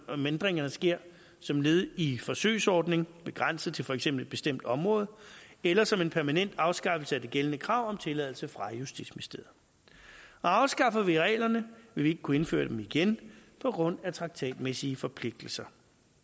om ændringerne sker som led i en forsøgsordning begrænset til for eksempel et bestemt område eller som en permanent afskaffelse af det gældende krav om tilladelse fra justitsministeriet afskaffer vi reglerne vil vi ikke kunne indføre dem igen på grund af traktatmæssige forpligtelser